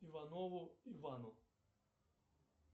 иванову ивану